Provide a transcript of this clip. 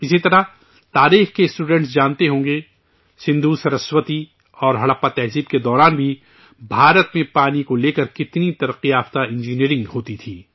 اسی طرح، تاریخ کے اسٹوڈنٹ جانتے ہوں گے، سندھو سرسوتی اور ہڑپا تہذیبوں کے دوران بھی ہندوستان میں پانی کو لے کر کتنی ترقی یافتہ انجینئرنگ ہوتی تھی